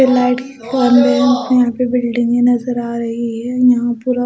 यहां पे बिल्डिंगे नजर आ रही है यहां पुरा--